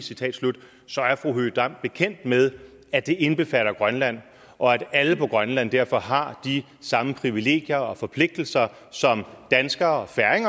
så er fru høegh dam bekendt med at det indbefatter grønland og at alle på grønland derfor har de samme privilegier og forpligtelser som danskere